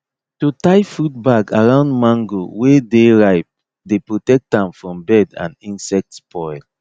to tie fruit bag around mango wey dey ripe dey protect am from bird and insect spoil